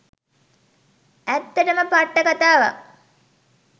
ඇත්තටම පට්ට කථාවක්